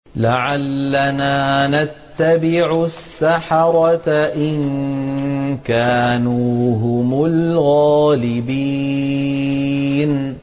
لَعَلَّنَا نَتَّبِعُ السَّحَرَةَ إِن كَانُوا هُمُ الْغَالِبِينَ